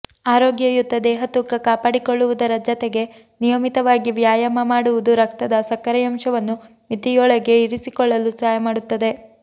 ಆರೋಗ್ಯಯುತ ದೇಹತೂಕ ಕಾಪಾಡಿಕೊಳ್ಳುವುದರ ಜತೆಗೆ ನಿಯಮಿತವಾಗಿ ವ್ಯಾಯಾಮ ಮಾಡುವುದು ರಕ್ತದ ಸಕ್ಕರೆಯಂಶವನ್ನು ಮಿತಿಯೊಳಗೆ ಇರಿಸಿಕೊಳ್ಳಲು ಸಹಾಯ ಮಾಡುತ್ತದೆ